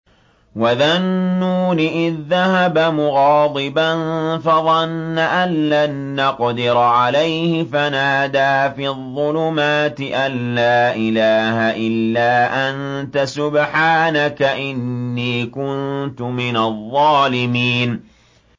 وَذَا النُّونِ إِذ ذَّهَبَ مُغَاضِبًا فَظَنَّ أَن لَّن نَّقْدِرَ عَلَيْهِ فَنَادَىٰ فِي الظُّلُمَاتِ أَن لَّا إِلَٰهَ إِلَّا أَنتَ سُبْحَانَكَ إِنِّي كُنتُ مِنَ الظَّالِمِينَ